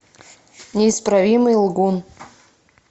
неисправимый лгун